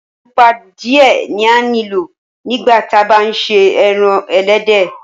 Ẹpọ̀ pupa diẹ̀ ni a ní lọ̀ nígbà tí à bá n ṣè ẹran ẹlẹdẹ.